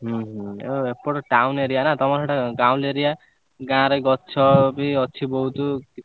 ହୁଁ ହୁଁ ଏପଟ town area ନା ତମର ସେପଟ ଗାଉଲି area ଗାଁ ରେ ଗଛ ବି ଅଛି ବହୁତ।